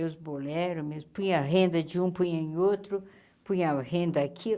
Meus bolero, meus punha a renda de um, punha em outro, punha a renda aqui.